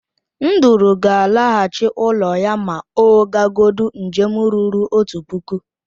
Nduru gal alaghachi ulọ ya ma ogagodụọ njem ruru otu puku.